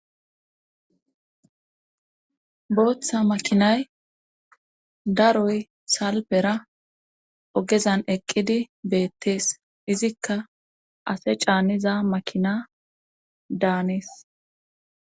booththa makinay daroy salbera ogezan eqqidi beettees izikka ase caanniza makina daanes